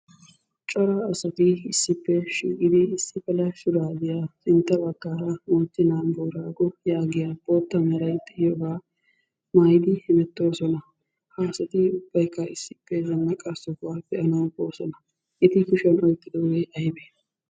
Cora asati issippe shiiqidi issi mala shuraabiya sintta baggaara "moochchenaa booraago" yaagiya bootta meray diyoogaa mayiddi hemettoosona. Ha asati ubbayikka issippe zannaqa sohuwa be'anawu boosona. Eti kushiyan oyiqqidoogee ayibee?